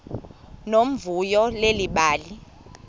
nomvuyo leli bali